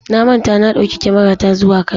Na manta na ɗauki kyamarata zuwa Kano.